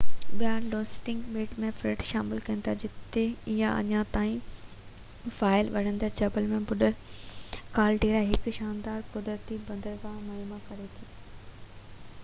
ٻيا لونگسٽن ٻيٽ ۽ فريب شامل ڪن ٿا جتي اڃا تائين فعال ٻرندڙ جبل جو ٻڏل ڪال ڊيرا هڪ شاندار قدرتي بندرگاهہ مهيا ڪري ٿو